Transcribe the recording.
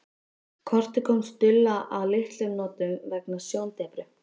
Kortið kom Stulla að litlum notum vegna sjóndepru.